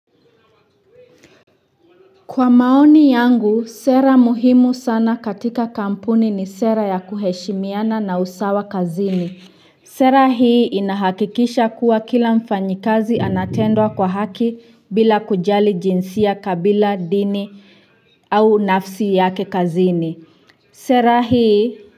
Kwa maoni yangu, sera muhimu sana katika kampuni ni sera ya kuheshimiana na usawa kazini. Sera hii inahakikisha kila mfanyikazi anatendwa kwa haki bila kujali jinsia dini au nafsi yake kazini sera hii.